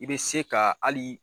I be se ka alii